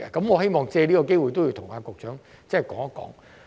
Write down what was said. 我希望藉此機會向局長提出。